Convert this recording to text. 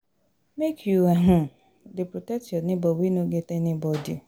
Make you um dey protect your nebor wey no get anybodi.